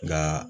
Nka